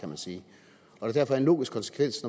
og at det derfor er en logisk konsekvens